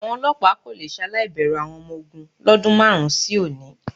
Àwọn olọ́pàá kò le ṣaláì bẹ̀rù àwọn ọmọ ogún lọ́dún márùn-ún sí òní.